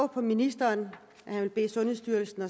på ministeren at han vil bede sundhedsstyrelsen